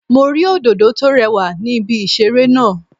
Mo rí Òdòdó tó rewà ní ibi ìṣeré náà